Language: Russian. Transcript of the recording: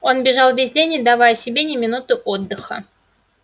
он бежал весь день не давая себе ни минуты отдыха